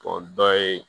O dɔ ye